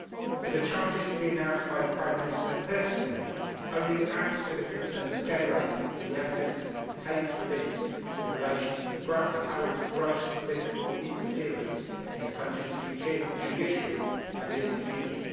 For the charges to be announced by the Prime Minister personally only adds to the concerns generated following the evidence of tapes released in relation to apparent gross political interference in the country's judiciary and media.